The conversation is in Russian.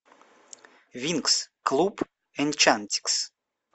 винкс клуб энчантикс